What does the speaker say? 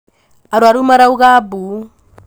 arwaru marauga mbu